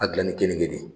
A dilan ni kenike de ye